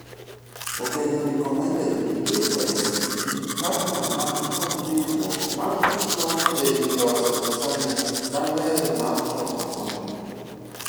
Obedo recommended ni KICD partner man kod riuruok man kod lony' ei loso design maler mar choko konten .